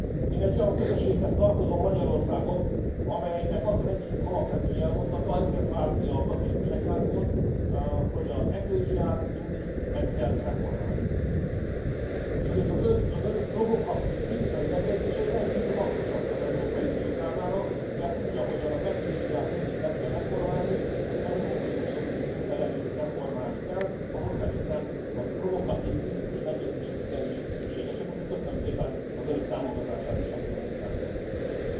Én egy olyan közösséghez tartozom Magyarországon, amelynek az az egyik alapvető jelmondata ezért vált ki a katolikus egyházból hogy az eklézsiát mindig meg kell reformálni, és ezért az önök provokatív, kritikai megjegyzései rendkívül hasznosak az Európai Unió számára, mert úgy, ahogyan az eklézsiát mindig meg kell reformálni az Európai Uniót is szüntelenül reformálni kell ehhez szerintem a provokatív, kritikus megjegyzések igenis szükségesek, úgyhogy köszönöm szépen az önök támogatását is, amit a munkánkhoz nyújtottak.